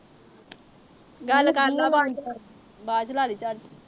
ਗੱਲ ਕਰ ਲੈ। ਬਾਅਦ ਲਾ ਲਈ charge